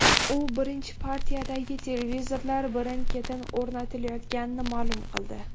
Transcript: U birinchi partiyadagi televizorlar birin-ketin o‘rnatilayotganini ma’lum qildi.